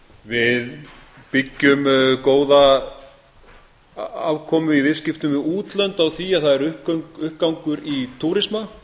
við byggjum góða afkomu í viðskiptum við útlönd á því að það er uppgangur í túrisma